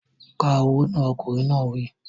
Ka owó náà! Ọkùnrin náà wí.